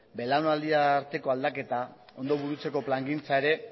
belaunaldi arteko aldaketa ondo burutzeko plangintza ere